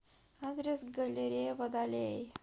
адрес галерея водолей